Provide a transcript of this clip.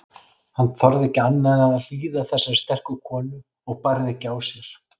Hann þorði ekki annað en hlýða þessari sterku konu og bærði ekki á sér.